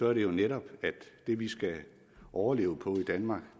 er det jo netop at det vi skal overleve på i danmark